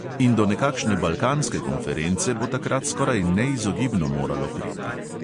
In do nekakšne balkanske konference bo takrat skoraj neizogibno moralo priti.